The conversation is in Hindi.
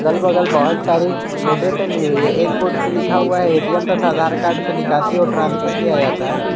अगल बगल बहुत सारी बोर्डे टंगी हुई है एक बोर्ड पे लिखा हुआ है ए_टी_एम तथा आधार कार्ड से निकासी और ट्रांसफर किया जाता है।